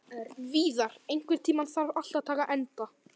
Víðar, einhvern tímann þarf allt að taka enda.